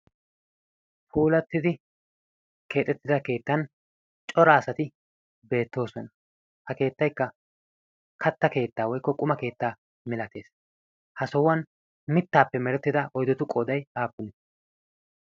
puulattidi keexettida keettan cora asati beettoosona. ha keettaikka katta keettaa woikko quma keettaa milatees. ha sohuwan mittaappe merettida oydotu qooday aappune?